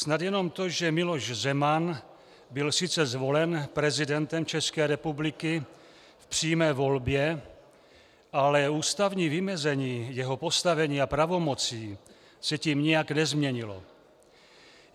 Snad jenom to, že Miloš Zeman byl sice zvolen prezidentem České republiky v přímé volbě, ale ústavní vymezení jeho postavení a pravomocí se tím nijak nezměnilo.